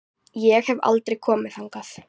Ég hef aldrei komið þangað.